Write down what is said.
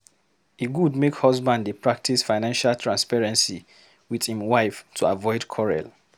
E good make husband dey practice financial transparency with im wife to avoid quarrel.